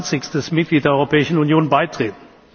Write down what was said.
28. Mitglied der Europäischen Union beitreten.